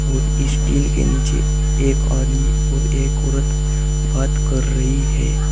इस टीन के नीचे एक आदमी और एक औरत बात कर रही है।